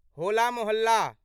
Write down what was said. होला मोहल्ला